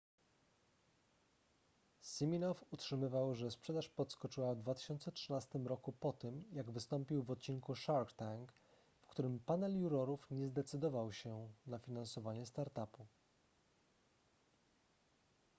siminoff utrzymywał że sprzedaż podskoczyła w 2013 roku po tym jak wystąpił w odcinku shark tank w którym panel jurorów nie zdecydował się na finansowanie startupu